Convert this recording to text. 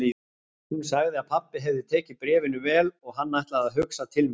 Hún sagði að pabbi hefði tekið bréfinu vel og hann ætlaði að hugsa til mín.